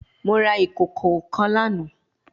Mo ra ikoko kan lana